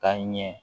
Ka ɲɛ